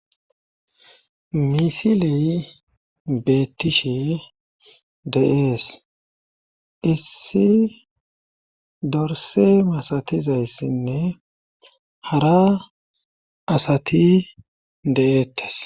misiley beettishe de7ees issi dorse masatizayssinne hara asati de7eettes